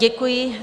Děkuji.